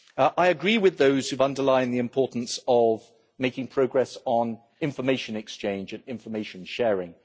I agree with those who've underlined the importance of making progress on information exchange and information sharing.